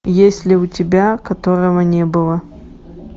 есть ли у тебя которого не было